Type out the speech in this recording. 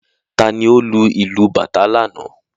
Ta ni ó lu ìlú bàtá lánàá?